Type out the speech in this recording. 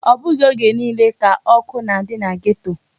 Ọ bụghị oge niile ka ọkụ na-adị na geto.